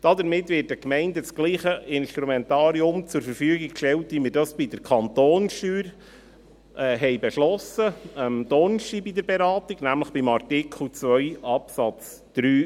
Damit wird den Gemeinden dasselbe Instrumentarium zur Verfügung gestellt wie wir dies am Donnerstag in der Beratung für die Kantonssteuern beschlossen haben, nämlich bei Artikel 2 Absatz 3a.